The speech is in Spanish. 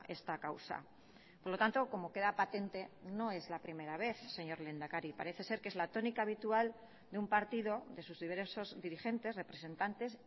esta causa por lo tanto como queda patente no es la primera vez señor lehendakari parece ser que es la tónica habitual de un partido de sus diversos dirigentes representantes